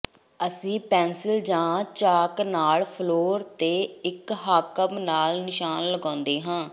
ਅਸੀਂ ਪੈਨਸਿਲ ਜਾਂ ਚਾਕ ਨਾਲ ਫ਼ਲੋਰ ਤੇ ਇੱਕ ਹਾਕਮ ਨਾਲ ਨਿਸ਼ਾਨ ਲਗਾਉਂਦੇ ਹਾਂ